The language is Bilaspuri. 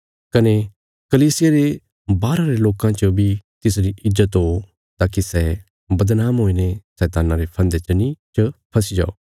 कने कलीसिया रे बाहरा रे लोकां च बी तिसरी ईज्जत हो ताकि सै बदनाम हुईने शैतान्ना रे फन्दे च फसी जाओ